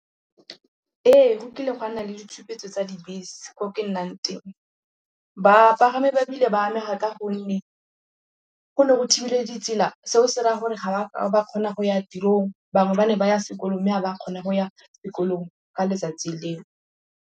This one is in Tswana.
Ee, go kile gwa nna le ditshupetso tsa dibese ko ke nnang teng. Bapagami ba bile ba amega ka gonne go ne go thibile ditsela. Seo se raya gore ga ba kgona go ya tirong. Bangwe ba ne ba ya sekolong mme ga ba kgone go ya sekolong ka letsatsi leo.